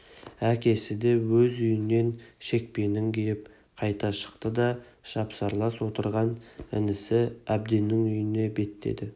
әкесі де өз үйінен шекпенін киіп қайта шықты да жапсарлас отырған інісі әбденнің үйіне беттеді